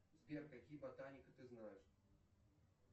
сбер какие ботаника ты знаешь